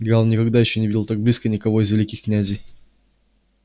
гаал никогда ещё не видел так близко никого из великих князей